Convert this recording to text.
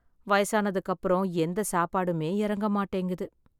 வயசான அதுக்கப்புறம் எந்த சாப்பாடுமே இறங்க மாட்டேங்குது.